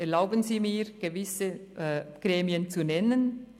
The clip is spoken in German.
Erlauben Sie mir, gewisse Gremien zu nennen: